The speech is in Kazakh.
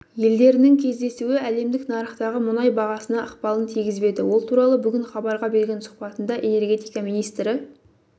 елдерінің кездесуі әлемдік нарықтағы мұнай бағасына ықпалын тигізбеді ол туралы бүгін хабарға берген сұхбатында энергетика министрі